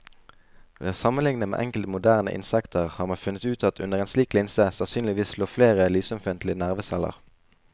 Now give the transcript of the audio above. Ved å sammenligne med enkelte moderne insekter har man funnet ut at det under en slik linse sannsynligvis lå flere lysømfintlige nerveceller.